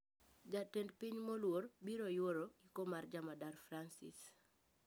Jatend piny moluor biro youro iko mar jamadar Fransis